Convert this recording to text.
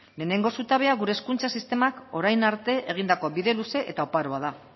lehenengo zutabea gure hezkuntza sistemak orain arte egindako bide luze eta oparoa da